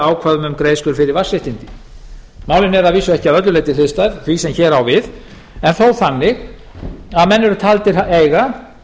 um greiðslur fyrir vatnsréttindi málin eru að vísu ekki að öllu leyti hliðstæð því sem hér á við en þó þannig að menn eru taldir eiga